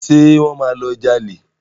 Ṣé wọ́n máa lọ jalè?